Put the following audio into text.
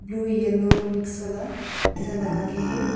जो yellow mix वाला ऐसा लगा के है।